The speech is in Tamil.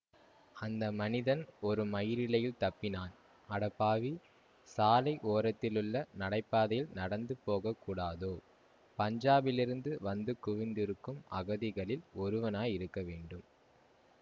அந்த மனிதன் ஒரு மயிரிழையில் தப்பினான் அடப்பாவி சாலை ஓரத்திலுள்ள நடைபாதையில் நடந்து போகக்கூடாதோ பஞ்சாபிலிருந்து வந்து குவிந்திருக்கும் அகதிகளில் ஒருவனாயிருக்கவேண்டும்